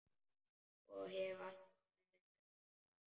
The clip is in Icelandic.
Og hef alltaf verið það.